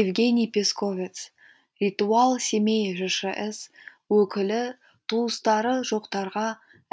евгений песковец ритуал семей жшс өкілі туыстары жоқтарға